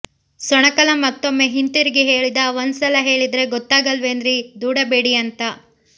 ಸೊಣಕಲ ಮತ್ತೊಮ್ಮೆ ಹಿಂತಿರುಗಿ ಹೇಳಿದ ಒಂದ್ಸಲ ಹೇಳಿದ್ರೆ ಗೊತ್ತಾಗಲ್ವೇನ್ರೀ ದೂಡಬೇಡಿ ಅಂತ